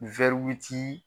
.